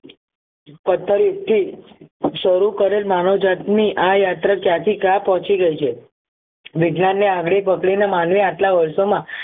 પથ્થર થી શરૂ કરેલ માનવ જાત ની યાત્રા ક્યાંથી ક્યાં પહોંચી ગઈ છે વિજ્ઞાની ની આંગળી પકડી ને માનવી આટલા વર્ષો માં